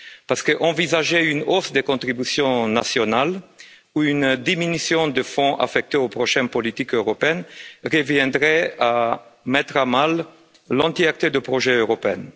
En effet, envisager une hausse des contributions nationales ou une diminution des fonds affectés aux prochaines politiques européennes reviendrait à mettre à mal la totalité du projet européen.